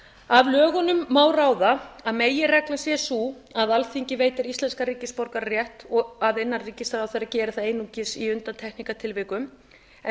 af lögunum má ráða að meginreglan sé sú að alþingi veitir íslenskan ríkisborgararétt og að innanríkisráðherra geri það einungis í undantekningartilvikum eða